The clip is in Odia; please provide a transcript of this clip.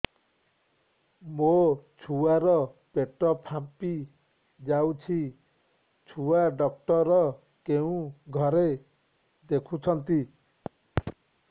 ମୋ ଛୁଆ ର ପେଟ ଫାମ୍ପି ଯାଉଛି ଛୁଆ ଡକ୍ଟର କେଉଁ ଘରେ ଦେଖୁ ଛନ୍ତି